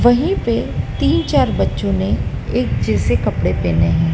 वहीं पे तीन चार बच्चों ने एक जैसे कपड़े पहने हैं।